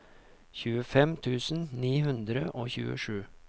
tjuefem tusen ni hundre og tjuesju